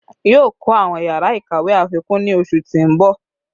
Yoo kọ awọn yara ikawe afikun ni oṣu ti n bọ